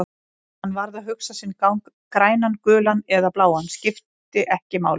Hann varð að hugsa sinn gang, grænan, gulan eða bláan, skipti ekki máli.